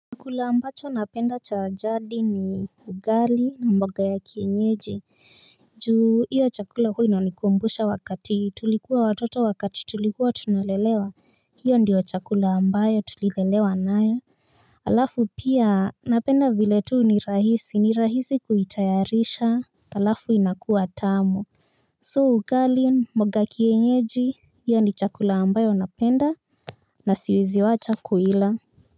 Chakula ambacho napenda cha jadi ni ugali na mboga ya kienyeji. Juu hiyo chakula hua ina nikumbusha wakati tulikuwa watoto wakati tulikuwa tunalelewa. Hiyo ndiyo chakula ambayo tulilelewa nayo. Alafu pia napenda vile tu ni rahisi ni rahisi kuitayarisha alafu inakuwa tamu So ugali mboga kienyeji hiyo ni chakula ambayo napenda na siwezi wacha kuila.